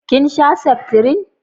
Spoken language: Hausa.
kin sha seftrin?